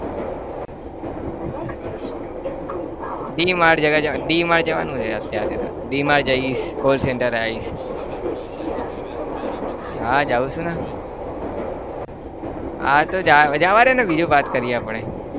DMart D Mart જવાનું છે અત્યારે તો D Mart જઈશ call centre એ આવીશ હા જાવ છું ને હા તો જવાદે ને બીજું વાત કરીએ આપણે